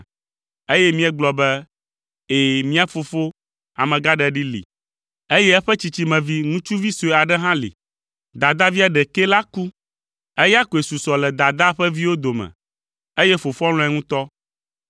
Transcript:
eye míegblɔ be, ‘Ɛ̃, mía fofo, amegãɖeɖi li, eye eƒe tsitsimevi, ŋutsuvi sue aɖe hã li. Dadavia ɖekɛ la ku; eya koe susɔ le dadaa ƒe viwo dome, eye fofoa lɔ̃e ŋutɔ.’